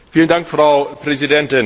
Frau Präsidentin!